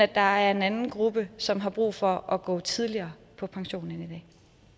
der er en anden gruppe som har brug for at gå tidligere på pension end i